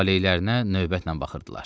Talehlərinə növbətlə baxırdılar.